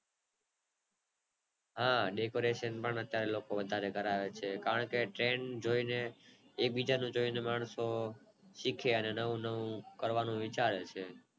હા decoration પણ લોકો વધારે કરાવે છે કારણકે ટ્રેન જોય ને એડ બીજા પ્રમાણે અને લોકો શીખે અને લોકો નવું નવું શીખે